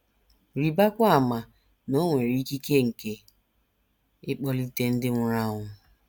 Rịbakwa ama na o nwere ikike nke ịkpọlite ndị nwụrụ anwụ.